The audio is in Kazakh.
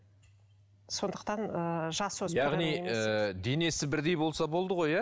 сондықтан ыыы яғни ыыы денесі бірдей болса болды ғой иә